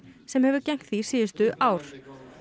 sem hefur gegnt því síðustu ár